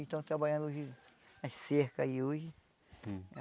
Estão trabalhando hoje as cercas aí hoje.